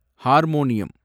harmonium